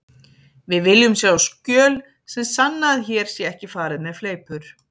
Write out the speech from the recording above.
Við viljum sjá skjöl sem sanna að hér sé ekki farið með fleipur.